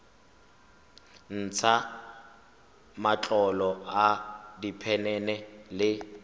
ntsha matlolo a diphenene le